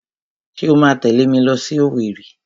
Ṣé o máa tẹ̀lé mi lọ sí Owerri?